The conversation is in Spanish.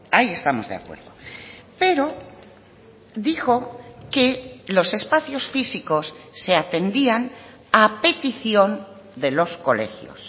ahí estamos de acuerdo pero dijo que los espacios físicos se atendían a petición de los colegios